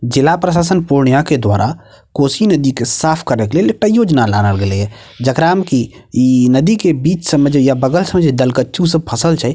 जिला प्रशासन पूर्णिया के द्वारा कोशी नदी के साफ़ करे के लेल एकटा योजना लावल गेले या जेकरा में कि इ नदी के बिच सब में जे या बगल सब में दल कचु सब फसल छै --